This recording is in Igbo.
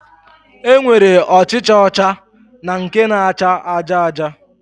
E nwere ọchịcha ọcha na nke na-acha aja aja